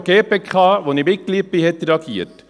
Auch die GPK, deren Mitglied ich bin, hat reagiert.